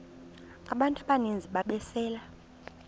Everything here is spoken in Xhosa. abantu abaninzi ababesele